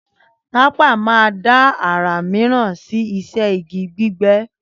Tapa má da ará míràn sí iṣẹ́ igi gbígbé